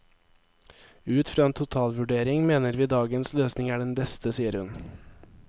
Ut fra en totalvurdering mener vi dagens løsning er den beste, sier hun.